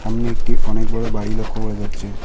সামনে একটি অনেক বড়ো বাড়ি লক্ষ্য করা যাচ্ছে।